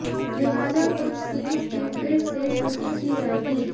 लिहाजा कुछ सीन्स की फिर से शूटिंग की जाएगी